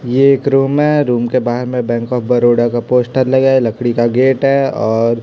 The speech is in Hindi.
यह एक रूम है रूम के बाहर में बैंक ऑफ़ बड़ौदा का पोस्टर लगा है लकड़ी का गेट है और--